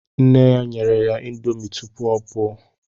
Nne ya nyere ya índomi tụpụ ọ pụọ